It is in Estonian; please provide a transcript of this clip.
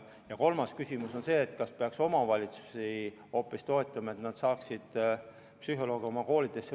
Ja kolmas küsimus on see, kas peaks hoopis omavalitsusi toetama, et nad saaksid oma koolidesse psühholoogi palgata.